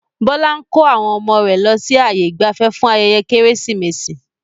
Bọlá ń kó àwọn ọmọ rẹ lọ sí ààyè ìgbafẹ́ fún ayẹyẹ Kérésìmesì